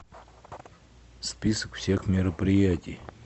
список всех мероприятий